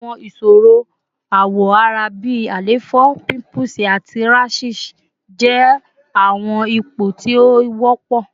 Awọn iṣoro awọ ara bi àléfọ, pimples, ati rashes jẹ awọn ipo ti o wọpọ